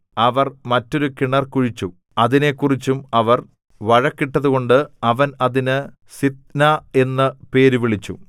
അവർ മറ്റൊരു കിണറ് കുഴിച്ചു അതിനെക്കുറിച്ചും അവർ വഴക്കിട്ടതുകൊണ്ട് അവൻ അതിന് സിത്നാ എന്നു പേരുവിളിച്ചു